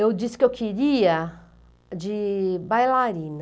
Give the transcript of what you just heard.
Eu disse que eu queria de bailarina.